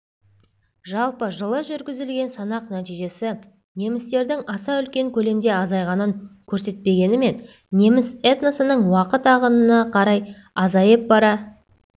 жалпы жылы жүргізілген санақ нәтижесі немістердің аса үлкен көлемде азайғанын көрсетпегенімен неміс этносының уақыт ағымына қарай азайып бара